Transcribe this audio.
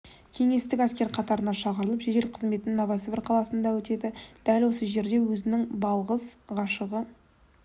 кеңестік әскер қатарына шақырылып жедел қызметін новосібір қаласында өтеді дәл осы жерде өзінің балғыз ғашығы